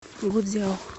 гуцзяо